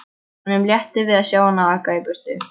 Honum létti við að sjá hana aka í burtu.